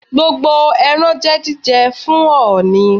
Gbogbo ẹran jẹ́ jíjẹ fún ọ̀ọ̀nì.